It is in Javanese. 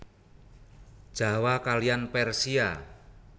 Jawa kaliyan Persia